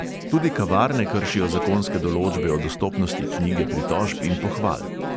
Tudi kavarne kršijo zakonske določbe o dostopnosti knjige pritožb in pohval.